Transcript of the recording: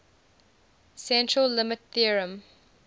central limit theorem